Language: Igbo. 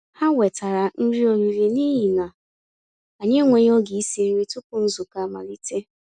Há wètàrà nrí ọ̀rị́rị́ n'íhi nà ànyị́ ènwéghị́ ògé ísi nrí túpụ̀ nzukọ́ amàlítè.